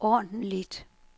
ordentligt